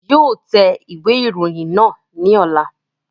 Yóò tẹ ìwé ìròyìn náà ní ọ̀la